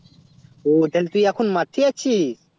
ওহ তালে তুই এখন মাঠে আছিস